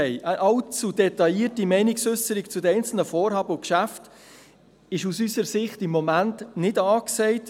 Eine allzu detaillierte Meinungsäusserung zu den einzelnen Vorhaben und Geschäften ist aus unserer Sicht im Moment nicht angesagt.